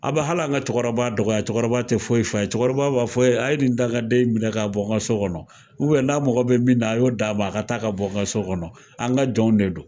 A bi hali an ka cɛkɔrɔba dɔgɔya cɛkɔrɔba te foyi fɔ a ye, cɛkɔrɔba b'a fɔ a ye nin dankaden in minɛ ka bɔ n ka so kɔnɔ . n'a mɔgɔ be min na a y'o da ma a ka taa ka bɔ n ka so kɔnɔ. An ka jɔnw de don.